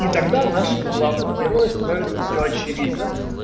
и тогда нашему главному героя становится все очевидно